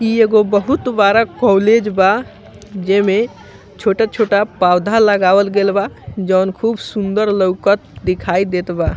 इ एगो बहुत बड़ा कॉलेज बा जेमें छोटा-छोटा पौधा लगावल गेल बा जोन खूब सुन्दर लौकत दिखाई देत बा।